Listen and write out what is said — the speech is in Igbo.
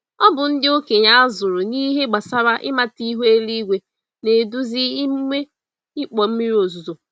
Ọbụ ndị okenye azụrụ n'ihe gbásárá ịmata ihu eluigwe, na-eduzi emume ịkpọ mmiri ozuzo.